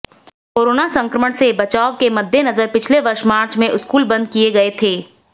corona संक्रमण से बचाव के मद्देनजर पिछले वर्ष मार्च में स्कूल बंद किए गए थे